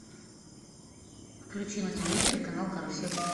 включи на телевизоре канал карусель